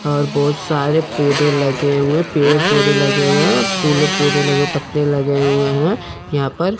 और बहोत सारे पौधे लगे हुए पेड़ पौधे लगे हुए हैं फूलों के पौधे लगे हुए पत्ते लगे हुए हैं यहां पर--